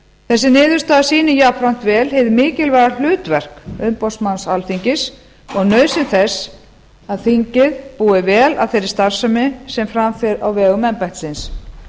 þessi niðurstaða sýnir jafnframt vel hið mikilvæga hlutverk umboðsmanns alþingis og nauðsyn þess að þingið búi vel að þeirri starfsemi sem fram fer á vegum embættisins